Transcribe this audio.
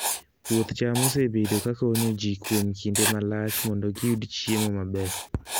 Puoth cham osebedo ka konyo ji kuom kinde malach mondo giyud chiemo maber.